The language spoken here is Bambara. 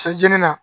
Se jeni na